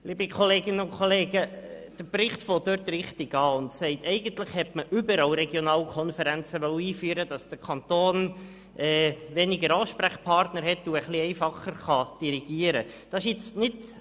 Liebe Kolleginnen und Kollegen, der Bericht beginnt richtig und sagt, dass eigentlich überall Regionalkonferenzen hätten eingeführt werden sollen, damit der Kanton weniger Ansprechpartner hat und ein wenig einfacher dirigieren kann.